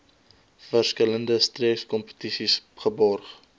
verskillende streekskompetisies geborg